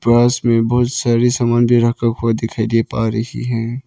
पास में बहुत सारी सामान भी रखा हुआ दिखाई दे पा रही है।